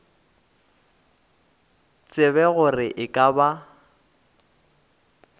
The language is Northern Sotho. tsebe gore e ka ba